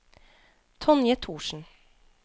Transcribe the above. Tonje Thorsen